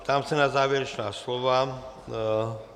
Ptám se na závěrečná slova.